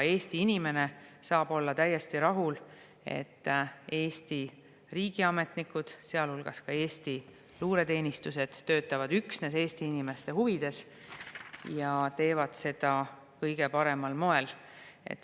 Eesti inimene saab olla täiesti rahul, et Eesti riigiametnikud, sealhulgas Eesti luureteenistused töötavad üksnes Eesti inimeste huvides ja teevad seda kõige paremal moel.